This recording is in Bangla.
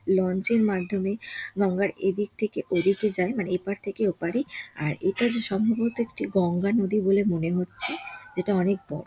লঞ্চের মাধ্যমে গঙ্গার এদিক থেকে ওদিকে যায় | মানে এপার থেকে ওপরে | আর এটা যে সম্ববত একটি গঙ্গা নদী বলে মনে হচ্ছে যেটা অনেক বড়ো ।